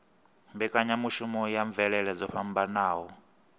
mbekanyamushumo ya mvelele dzo fhambanaho